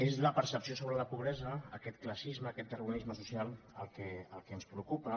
és la percepció sobre la pobresa aquest classisme aquest darwinisme social el que ens preocupa